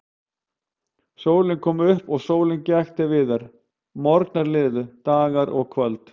Sólin kom upp og sólin gekk til viðar, morgnar liðu, dagar og kvöld.